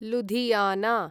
Ludhiana